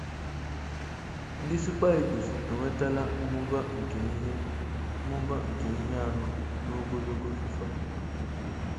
Ndị Super Eagles enwetala mmụba nke ihe mmụba nke ihe anọ n’ogologo FIFA.